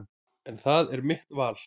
En það er mitt val.